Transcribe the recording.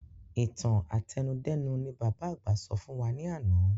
Ìtàn àtẹnudẹ́nu ni bàbá àgbà sọ fún wa ní àná